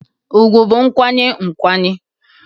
ùgwù bụ nkwanye nkwanye